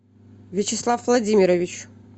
вячеслав владимирович